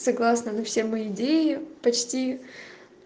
согласна на все мои идеи почти